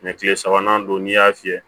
kile sabanan don n'i y'a fiyɛ